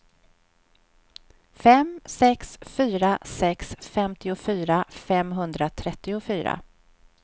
fem sex fyra sex femtiofyra femhundratrettiofyra